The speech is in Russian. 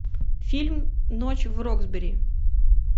фильм ночь в роксбери